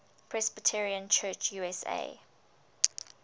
presbyterian church usa